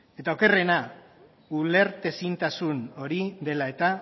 eta okerrena ulertezintasun hori dela eta